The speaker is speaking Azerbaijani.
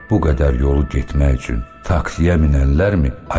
Bu qədər yolu getmək üçün taksiyə minənlərdimi?